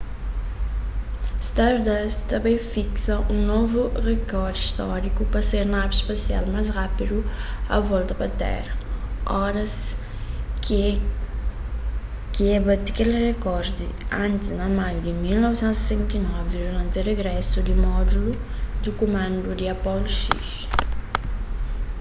stardust ta bai fiksa un novu rekor stóriku pa ser navi spasial más rápidu a volta pa téra oras ki ek bati kel rekor di antis na maiu di 1969 duranti rigrésu di módulu di kumandu di apollo x